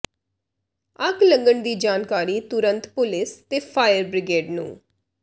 ਅੱਗ ਲੱਗਣ ਦੀ ਜਾਣਕਾਰੀ ਤੁਰਤ ਪੁਲਿਸ ਤੇ ਫਾਇਰ ਬ੍ਰਿਗੇਡ ਨੂ